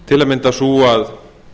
til að mynda sú að